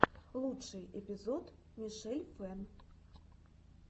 лучший эпизод мишель фэн